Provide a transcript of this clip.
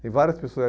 Tem várias pessoas.